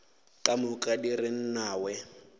ka moka di re nnawee